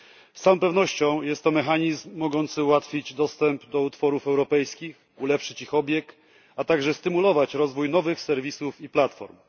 Z całą pewnością jest to mechanizm mogący ułatwić dostęp do utworów europejskich, ulepszyć ich obieg, a także stymulować rozwój nowych serwisów i platform.